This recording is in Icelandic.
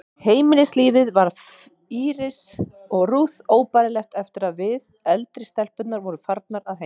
Heimilislífið varð Írisi og Ruth óbærilegt eftir að við, eldri stelpurnar, vorum farnar að heiman.